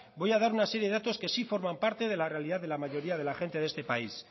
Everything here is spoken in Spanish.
voy a dar una serie de datos que sí forman parte de la realidad de la mayoría de la gente de este país